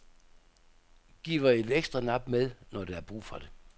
Giver et ekstra nap med, når der er brug for det.